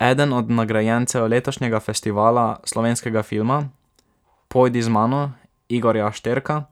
Eden od nagrajencev letošnjega Festivala slovenskega filma, Pojdi z mano Igorja Šterka,